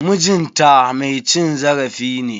MIjin ta mai cin zarafi ne.